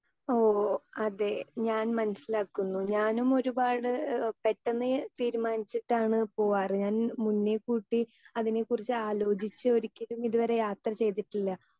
Speaker 2 ഓ അതെ ഞാൻ മനസ്സിലാക്കുന്നു ഞാനും ഒരുപാട് ഏഹ് പെട്ടെന്ന് തീരുമാനിച്ചിട്ടാണ് പോകാറ് മുന്നേ കൂട്ടി അതിനെക്കുറിച്ച് ആലോചിച്ചിട്ട് ഒരിക്കലും ഇതുവരെ യാത്ര ചെയ്തിട്ടില്ല.